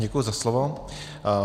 Děkuji za slovo.